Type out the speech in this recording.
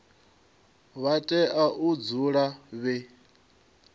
vha tea u dzula vhe